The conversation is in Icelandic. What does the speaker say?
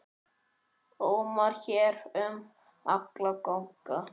ómar hér um alla ganga.